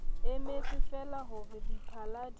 emetsefeela ho re diphala di